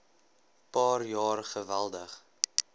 paar jaar geweldig